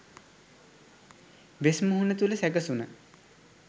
වෙස් මුහුණ තුළ සැකසුණ